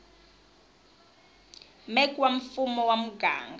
mec wa mfumo wa muganga